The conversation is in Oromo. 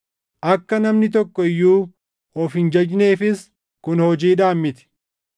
akka namni tokko iyyuu of hin jajneefis kun hojiidhaan miti.